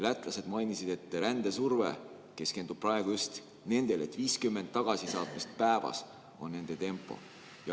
Lätlased mainisid, et rändesurve keskendub praegu just nendele ja et 50 tagasisaatmist päevas on nende tempo.